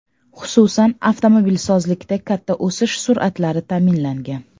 Xususan, avtomobilsozlikda katta o‘sish sur’atlari ta’minlangan.